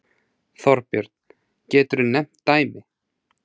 Þorbjörn: Geturðu nefnt dæmi?